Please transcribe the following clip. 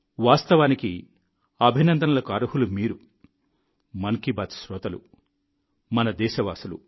వాస్తవానికి అభినందనలకు అర్హులు మీరు మన్ కీ బాత్ శ్రోతలు మన దేశ వాసులు